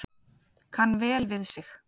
Kann vel við sig